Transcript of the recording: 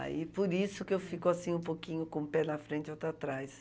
Aí, por isso que eu fico assim, um pouquinho com um pé na frente e outro atrás.